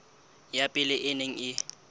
ya pele e neng e